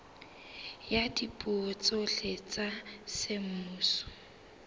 ya dipuo tsohle tsa semmuso